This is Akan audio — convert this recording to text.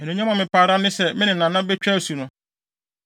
Anuonyam a mepɛ ara ne sɛ me ne Nana betwa asu no.